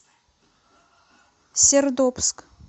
сердобск